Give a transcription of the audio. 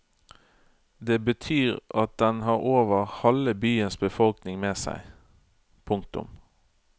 Det betyr at den har over halve byens befolkning med seg. punktum